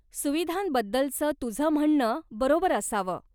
सुविधांबद्दलचं तुझं म्हणणं बरोबर असावं.